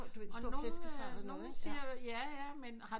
Du ved en store flæskesteg eller noget ikke